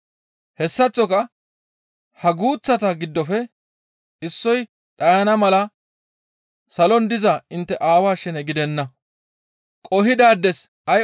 Hessaththoka ha guuththata giddofe issoy dhayana mala salon diza intte aawaa shene gidenna.